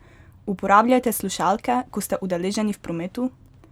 Uporabljate slušalke, ko ste udeleženi v prometu?